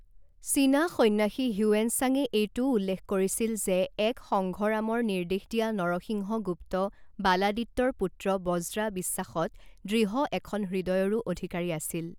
চীনা সন্ন্যাসী হিউৱেন চাঙে এইটোও উল্লেখ কৰিছিল যে এক সংঘৰামৰ নিৰ্দেশ দিয়া নৰসিংহ গুপ্ত বালাদিত্যৰ পুত্ৰ বজ্ৰা বিশ্বাসত দৃঢ় এখন হৃদয়ৰো অধিকাৰী আছিল।